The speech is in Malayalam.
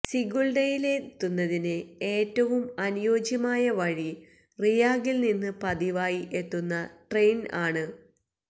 സിഗുൾഡയിലെത്തുന്നതിന് ഏറ്റവും അനുയോജ്യമായ വഴി റിയാഗിൽ നിന്ന് പതിവായി എത്തുന്ന ട്രെയിൻ ആണ്